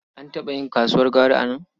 An taɓa yin kasuwar gwari a nan.